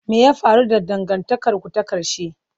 Me ya faru da dangantakarku ta ƙarshe?